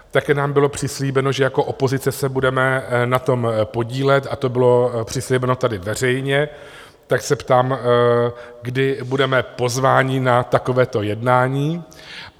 Také nám bylo přislíbeno, že jako opozice se budeme na tom podílet, a to bylo přislíbeno tady veřejně, tak se ptám, kdy budeme pozvání na takovéto jednání?